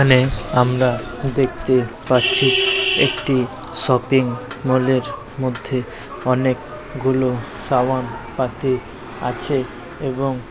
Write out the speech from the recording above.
এখানে আমরা দেখতে পাচ্ছি- একটি -শপিং মল এর- মধ্যে অনেক-গুলো সাবান পাতি আছে এবং --